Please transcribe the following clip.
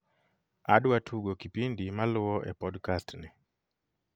adwa tugo kipindi maluo e podcast ni